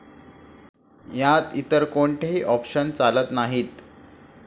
यात इतर कोणतेही ऑपशन्स चालत नाहीत.